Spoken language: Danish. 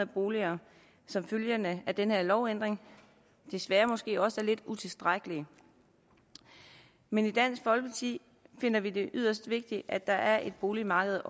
boliger som følge af den her lovændring desværre måske også er lidt utilstrækkelig men i dansk folkeparti finder vi det yderst vigtigt at der er et boligmarked